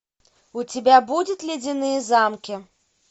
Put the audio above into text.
у тебя будет ледяные замки